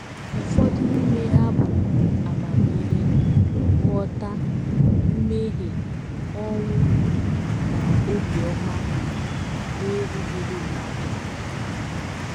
Ụfọdụ n’ime ha bụ amamihe, nghọta, mmehie, ọnwụ, na obiọma na - erughịrị mmadụ.